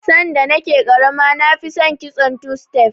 Sanda na ke ƙarama na fi son kitson two stef